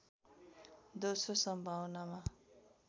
दोश्रो सम्भावनामा